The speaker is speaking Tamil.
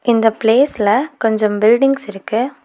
இந்த பிளேஸ்ல கொஞ்சம் பில்டிங்ஸ் இருக்கு.